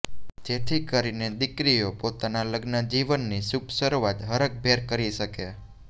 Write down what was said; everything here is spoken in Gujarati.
જેથી કરીને દીકરીઓ પોતાના લગ્નજીવનની શુભ શરૂઆત હરખભેર કરી શકે